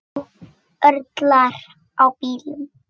Nú örlar á bílum.